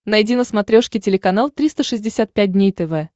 найди на смотрешке телеканал триста шестьдесят пять дней тв